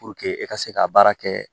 e ka se ka baara kɛ